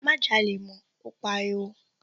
Má jalè mọ́, ó pariwo.